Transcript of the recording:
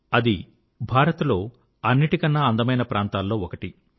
అది భారత్ లో అన్నిటికన్నా అందమైన ప్రాంతాల్లో ఒకటి